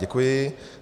Děkuji.